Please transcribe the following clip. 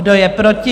Kdo je proti?